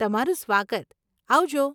તમારું સ્વાગત. આવજો.